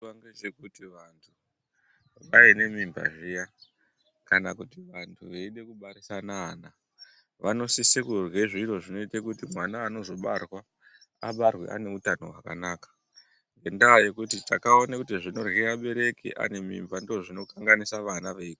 Vanhu vaine mimba zviya kana kuti vanhu veide kubarisana ana vanosise kurye zviro zvinoite kuti mwana anozobarwa abarwe aneutano hwakanaka ngendaa yekuti takaona kuti zvinorya abereki vaine mimba ndozvinokanganisa vana.